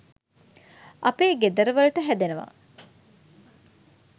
අපේ ගෙදර වලට හැදෙනව